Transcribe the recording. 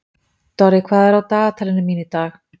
Dorri, hvað er á dagatalinu mínu í dag?